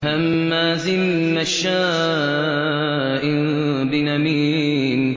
هَمَّازٍ مَّشَّاءٍ بِنَمِيمٍ